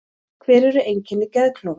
Hver eru einkenni geðklofa?